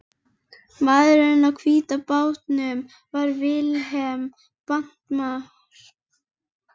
Maðurinn á hvíta bátnum var Vilhelm bankamaður.